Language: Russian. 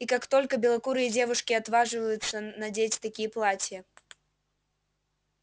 и как только белокурые девушки отваживаются надеть такие платья